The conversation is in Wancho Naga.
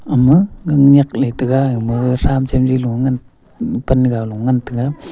ama gang nak le taiga ama tham chem li low pan ga go ngan tega.